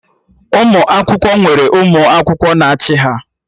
Ụmụ akwụkwọ nwere ụmụ akwụkwọ na-achị ha